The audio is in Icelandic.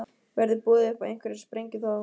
Verður boðið upp á einhverja sprengju þá?